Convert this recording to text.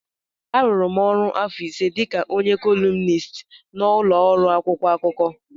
A rụrụ m ọrụ afọ ise dịka onye kọlumnist n'ụlọ ọrụ akwụkwọ akụkọ.